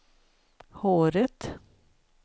håret